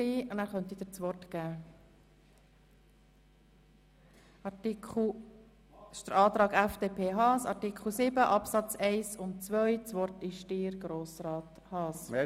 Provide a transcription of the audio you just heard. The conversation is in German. Wenn Sie noch etwas dazu sagen möchten, besteht jetzt die Gelegenheit dafür.